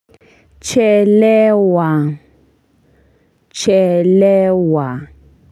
Chelewa chelewa.